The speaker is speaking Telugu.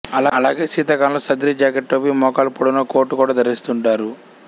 అలాగే శీతాకాలంలో సద్రి జాకెట్ టోపీ మోకాలు పొడవున కోటు కూడా ధరిస్తుంటారు